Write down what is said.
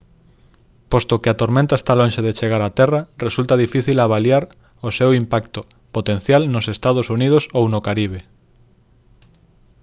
posto que a tormenta está lonxe de chegar a terra resulta difícil avaliar o seu impacto potencial nos ee uu ou no caribe